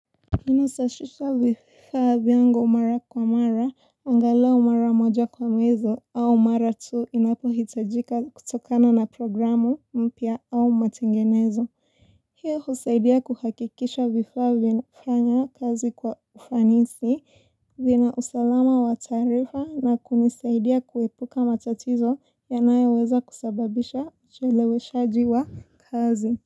Ninasashisha vifaa vyangu mara kwa mara angalau mara moja kwa mwezi au mara tu inapo hitajika kutokana na programu mpya au matengenezo hiyo husaidia kuhakikisha vifaa vinafanya kazi kwa ufanisi vina usalama wa taarifa na kunisaidia kuepuka matatizo yanayoweza kusababisha ucheleweshaji wa kazi.